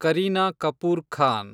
Kareena Kapoor Khan